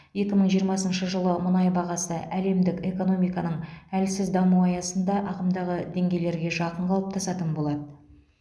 екі мың жиырмасыншы жылы мұнай бағасы әлемдік экономиканың әлсіз дамуы аясында ағымдағы деңгейлерге жақын қалыптасатын болады